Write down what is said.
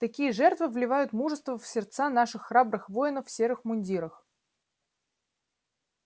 такие жертвы вливают мужество в сердца наших храбрых воинов в серых мундирах